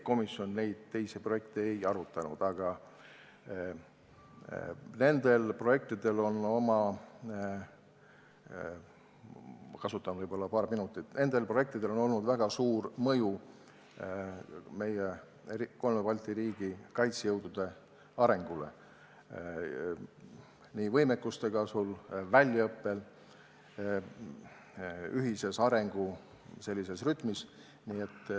Komisjon neid teisi projekte ei arutanud, aga nendel projektidel on olnud väga suur mõju meie kolme Balti riigi kaitsejõudude arengule – nii seoses võimekuse kasvu, väljaõppe kui ka ühise arengu rütmiga.